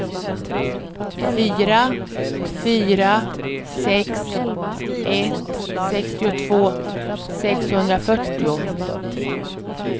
fyra fyra sex ett sextiotvå sexhundrafyrtio